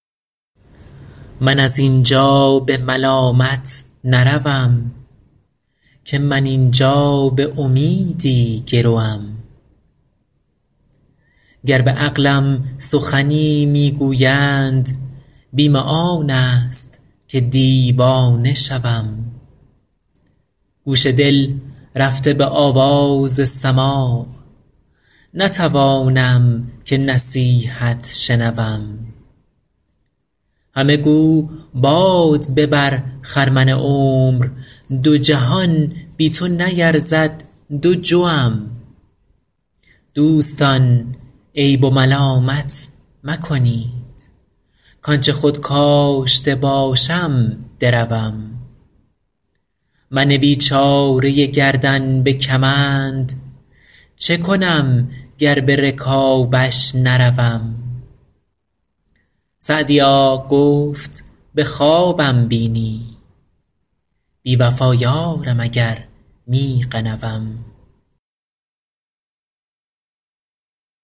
من از این جا به ملامت نروم که من این جا به امیدی گروم گر به عقلم سخنی می گویند بیم آن است که دیوانه شوم گوش دل رفته به آواز سماع نتوانم که نصیحت شنوم همه گو باد ببر خرمن عمر دو جهان بی تو نیرزد دو جوم دوستان عیب و ملامت مکنید کآن چه خود کاشته باشم دروم من بیچاره گردن به کمند چه کنم گر به رکابش نروم سعدیا گفت به خوابم بینی بی وفا یارم اگر می غنوم